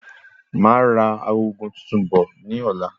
Máa ra agogo tuntun bọ̀ ní ọ̀la